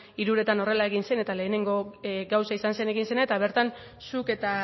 hiruretan horrela egin zen eta lehengo gauza izan zen egin zena eta bertan zuk eta